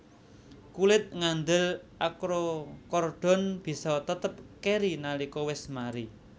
Kulit ngandel akrokordon bisa tetep keri nalika wis mari